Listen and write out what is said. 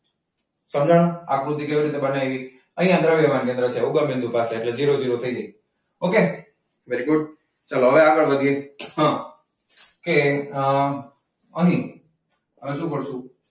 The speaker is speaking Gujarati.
સમજાયું આકૃતિ કેવી રીતે બનાવી? અહીંયા દ્રવ્યમાન કેન્દ્ર છે ઉગમબિંદુ પાસે એટલે ઝીરો ઝીરો થઈ જાય. okay very good. ચલો હવે આગળ વધીએ અમ અમ અને અડધું પડતું,